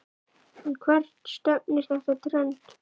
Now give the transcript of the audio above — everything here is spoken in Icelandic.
En hvert stefnir þetta trend?